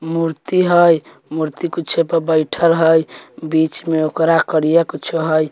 मूर्ति हेय मूर्ति कुछो पर बैठएल हेय बीच में ओकरा करिया कुच्छो हेय।